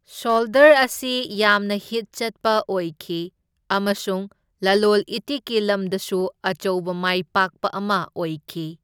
Shoulder ꯑꯁꯤ ꯌꯥꯝꯅ ꯍꯤꯠ ꯆꯠꯄ ꯑꯣꯏꯈꯤ ꯑꯃꯁꯨꯡ ꯂꯂꯣꯜ ꯏꯇꯤꯛꯀꯤ ꯂꯝꯗꯁꯨ ꯑꯆꯧꯕ ꯃꯥꯏꯄꯥꯛꯄ ꯑꯃ ꯑꯣꯏꯈꯤ꯫